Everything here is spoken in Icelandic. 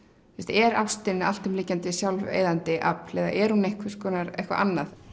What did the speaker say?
er ástin alltumlykjandi sjálfseyðandi afl eða er hún eitthvað eitthvað annað